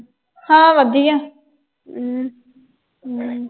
ਹਾਂ, ਵਧੀਆ ਅਹ ਅਮ